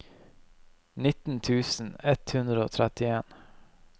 nitten tusen ett hundre og trettien